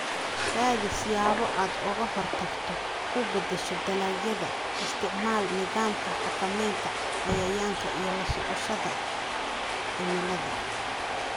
Raadi siyaabo aad uga hortagto, u beddesho dalagyada, isticmaal nidaamka xakamaynta cayayaanka iyo la socoshada cimilada